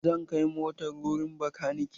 Zan kai motar wurin makaniki.